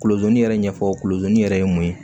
Kolozini yɛrɛ ɲɛfɔ kolozi yɛrɛ ye mun ye